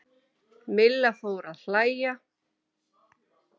Milla fór að hlæja.